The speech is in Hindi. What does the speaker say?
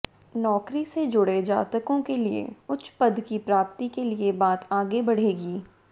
नौकरी से जुड़े जातकों के लिए उच्च पद की प्राप्ति के लिए बात आगे बढ़ेगी